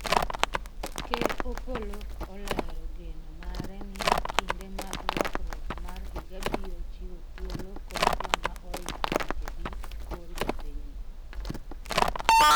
Ker Opolo olero geno mare ni kinde mag lokruok mar higa biro chiwo thuolo kod joma oringo thuchegi kor jopinyno